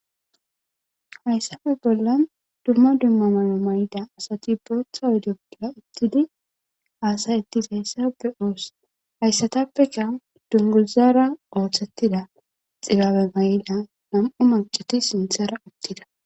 hayssafe bolla dumma dummamano may7ida asati bootha wode bolla uttidi haasayettis hayssa be7oos hayssatappeka dunguzara ooththettida xilaabe may7da nam7u maceti sinthara uttida